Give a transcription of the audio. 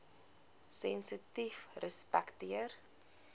sensitiefrespekteer